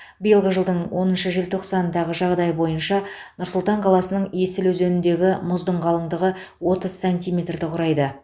биылғы жылдың оныншы желтоқсанындағы жағдай бойынша нұр сұлтан қаласының есіл өзеніндегі мұздың қалыңдығы отыз сантиметрді құрайды